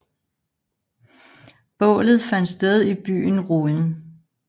Bålet fandt sted i byen Rouen